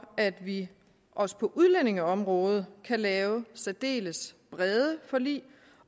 at vi også på udlændingeområdet kan lave særdeles brede forlig